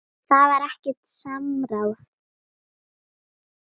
Það var ekkert samráð.